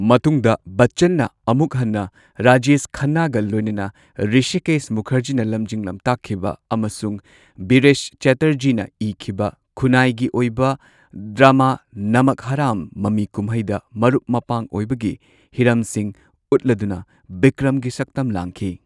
ꯃꯇꯨꯡꯗ ꯕꯆꯆꯟꯅ ꯑꯃꯨꯛ ꯍꯟꯅ ꯔꯥꯖꯦꯁ ꯈꯟꯅꯥꯒ ꯂꯣꯏꯅꯅ ꯔꯤꯁꯤꯀꯦꯁ ꯃꯨꯈꯔꯖꯤꯅ ꯂꯝꯖꯤꯡ ꯂꯝꯇꯥꯛꯈꯤꯕ ꯑꯃꯁꯨꯡ ꯕꯤꯔꯦꯁ ꯆꯇꯔꯖꯤꯅ ꯏꯈꯤꯕ ꯈꯨꯅꯥꯏꯒꯤ ꯑꯣꯏꯕ ꯗ꯭ꯔꯥꯃꯥ ꯅꯃꯛ ꯍꯔꯥꯝ ꯃꯃꯤ ꯀꯨꯝꯍꯩꯗ ꯃꯔꯨꯞ ꯃꯄꯥꯡ ꯑꯣꯏꯕꯒꯤ ꯍꯤꯔꯝꯁꯤꯡ ꯎꯠꯂꯗꯨꯅ ꯕꯤꯀ꯭ꯔꯝꯒꯤ ꯁꯛꯇꯝ ꯂꯥꯡꯈꯤ꯫